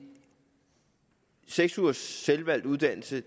seks ugers selvvalgt uddannelse